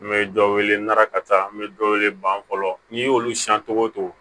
N bɛ dɔ wele n'arakata an bɛ dɔ wele ban fɔlɔ n'i y'olu siyan cogo o cogo